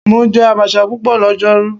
Mo jẹ abacha pupọ lọjọru